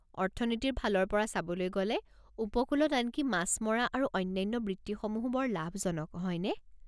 অৰ্থনীতিৰ ফালৰ পৰা চাবলৈ গ'লে, উপকূলত আনকি মাছ মৰা আৰু অন্যান্য বৃত্তিসমূহো বৰ লাভজনক, হয়নে?